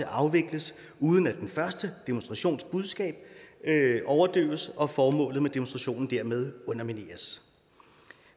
afvikles uden at den første demonstrations budskab overdøves og formålet med demonstrationen dermed undermineres